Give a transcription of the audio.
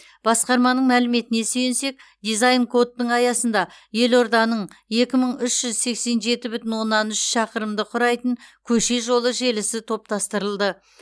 басқарманың мәліметіне сүйінсек дизайн кодтың аясында елорданың екі мың үш жүз сексен жеті бүтін оннан үш шақырымды құрайтын көше жолы желісі топтастырылды